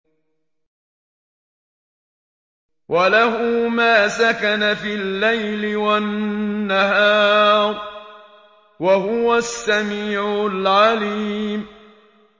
۞ وَلَهُ مَا سَكَنَ فِي اللَّيْلِ وَالنَّهَارِ ۚ وَهُوَ السَّمِيعُ الْعَلِيمُ